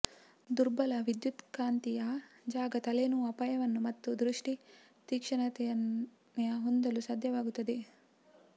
ದುರ್ಬಲ ವಿದ್ಯುತ್ಕಾಂತೀಯ ಜಾಗ ತಲೆನೋವು ಅಪಾಯವನ್ನು ಮತ್ತು ದೃಷ್ಟಿ ತೀಕ್ಷ್ಣತೆಯ ಹೊಂದಲು ಸಾಧ್ಯವಾಗುತ್ತದೆ